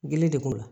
Gele de b'o la